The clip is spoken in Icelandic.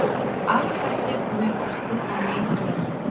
Alls ekkert mun okkur þá mein gera.